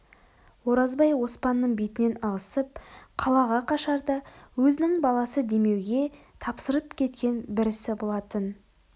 оразбай оспанның бетінен ығысып қалаға қашарда өзінің баласы демеуге тапсырып кеткен бір ісі болатын